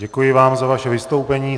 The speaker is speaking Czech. Děkuji vám za vaše vystoupení.